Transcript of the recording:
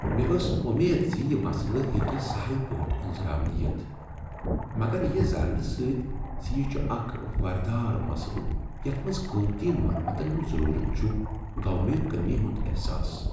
مےٚ ٲس امید ز یہ مسلہٕ ہیٚکہ سہل پٲٹھۍ أنزراونہٕ یتھ، مگر یہ زاننہٕ سۭتۍ ز یہ چھ اکھ وردار مسلہٕ یتھ منز قیمتی مرمتن ہُند ضرورت چھُ گوٚو مےٚ کٔمی ہنٛد احساس۔